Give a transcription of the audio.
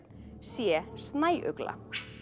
c snæugla